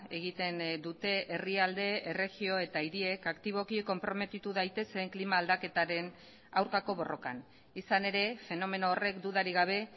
egiten dute herrialde erregio eta hiriek aktiboki konprometitu daitezen klima aldaketaren aurkako borrokan izan ere fenomeno horrek dudarik gabe